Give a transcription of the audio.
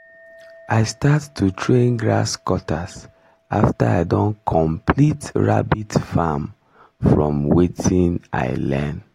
i start to train grasscutters after i don complete rabbit farm from watin i learn